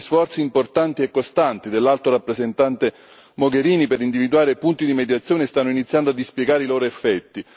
Gli sforzi importanti e costanti dell'Alto rappresentante Mogherini per individuare punti di mediazione stanno iniziando a dispiegare i loro effetti.